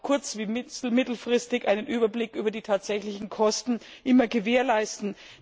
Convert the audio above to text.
kurz und mittelfristig einen Überblick über die tatsächlichen Kosten gewährleisten.